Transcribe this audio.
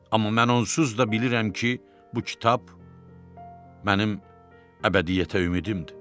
Amma mən onsuz da bilirəm ki, bu kitab mənim əbədiyyətə ümidimdir.